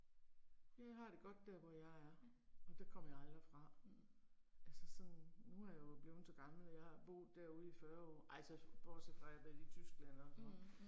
Jeg har det godt der hvor jeg er, og der kommer jeg aldrig fra. Altså sådan, nu er jeg jo blevet så gammel at jeg har boet derude i 40 år, ej så bortset fra at jeg har været i Tyskland og sådan noget